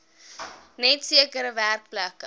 net sekere werkplekke